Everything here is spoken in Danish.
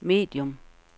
medium